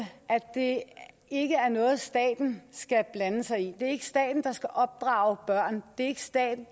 det ikke er noget staten skal blande sig i det er ikke staten der skal opdrage børn det er ikke staten